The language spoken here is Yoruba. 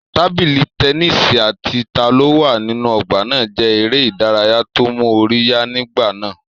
Tábìlì tẹnísì àti ta ló wà nínú ọgbà náà jẹ́ eré ìdárayá tó mú orí yá nígbà náà